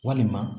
Walima